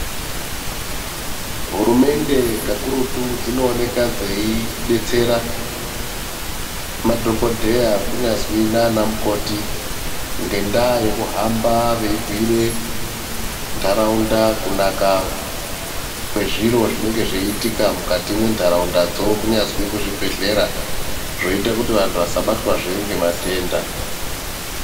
Hurumende kakurutu dzinooneka dzeidetsera madhokodheya kunyazwi nana mukoti ngenda yekuhambe veibhire ntaraunda kunaka kwezviro zvinenge zveiitika mukati mentaraundadzo kunyazwi kuzvibhedhlera zvotoita kuti vantu vasabatwezve ngematenda.